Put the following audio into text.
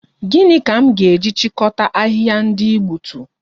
Gịnị ka m ga-eji chịkọta ahịhịa ndị ị gbutu?